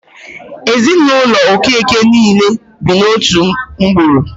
Ezinụlọ Okeke niile bi n'otu ngwuru.